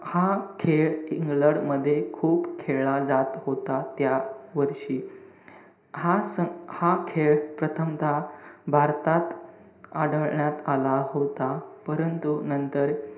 हा खेळ इंग्लंड मध्ये खूप खेळला जात होता, त्यावर्षी. हा स~ हा खेळ प्रथमतः भारतात आढळण्यात आला होता. परंतु, नंतर,